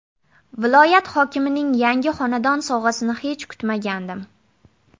Viloyat hokimining yangi xonadon sovg‘asini hech kutmagandim.